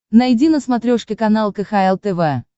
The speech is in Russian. найди на смотрешке канал кхл тв